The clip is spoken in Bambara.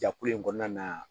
Jakulu in kɔnɔna na